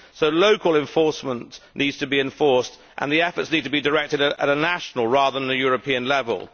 So local enforcement needs to be ensured and efforts need to be directed at a national rather than a European level.